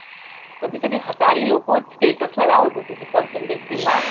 कधी कधी लोकं status ला लावत होती ती percentage ती marks